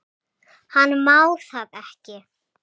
Hann má það ekki.